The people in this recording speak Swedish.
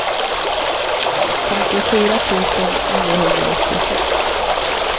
femtiofyra tusen niohundraåttiosex